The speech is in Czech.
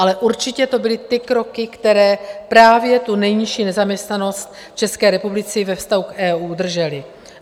Ale určitě to byly ty kroky, které právě tu nejnižší nezaměstnanost v České republice ve vztahu k EU držely.